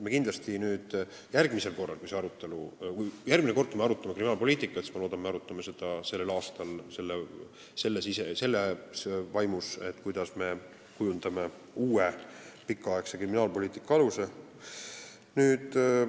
Ma loodan, et järgmisel korral, kui me arutame kriminaalpoliitikat, siis me arutame seda selles vaimus, kuidas kujundada uue pikaaegse kriminaalpoliitika aluseid.